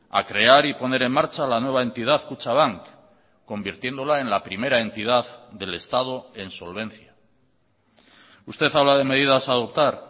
a crear y poner en marcha la nueva entidad kutxabank convirtiéndola en la primera entidad del estado en solvencia usted habla de medidas a adoptar